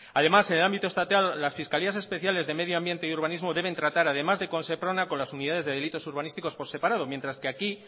además en el ámbito estatal las fiscalías especiales de medioambiente y urbanismo deben tratar además de con seprona con las unidades de delitos urbanísticos por separado mientras que aquí